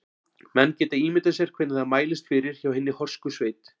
Menn geta ímyndað sér hvernig það mælist fyrir hjá hinni horsku sveit.